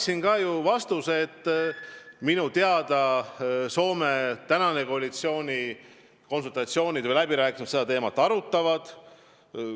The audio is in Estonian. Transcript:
Ja ma ju märkisin vastates, et minu teada Soome koalitsiooniläbirääkimistel seda teemat arutatakse.